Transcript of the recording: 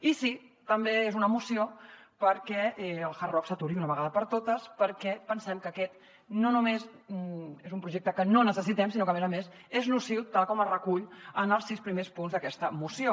i sí també és una moció perquè el hard rock s’aturi d’una vegada per totes perquè pensem que aquest no només és un projecte que no necessitem sinó que a més a més és nociu tal com es recull en els sis primers punts d’aquesta moció